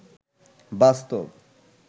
বাস্তব